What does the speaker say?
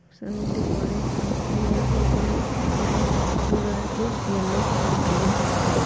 सभी दीवारे है दीवारों का कलर कलर रेड यल्लो और ग्रीन है।